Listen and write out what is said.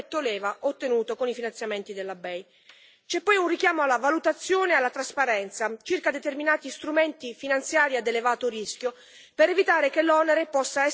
C'è poi un richiamo alla valutazione e alla trasparenza circa determinati strumenti finanziari a elevato rischio, per evitare che l'onere possa essere scaricato sulle piccole e medie imprese e sui cittadini.